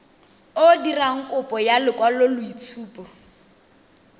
o dirang kopo ya lekwaloitshupo